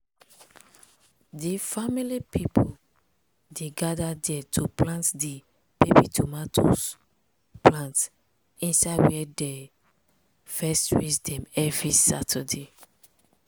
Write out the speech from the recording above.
di family pipo dey gada dey to plant di baby tomato plant inside wia dem dey first raise dem every saturday.